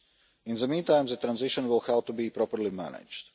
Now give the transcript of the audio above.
In the meantime the transition will have to be properly managed.